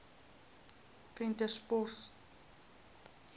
venterspost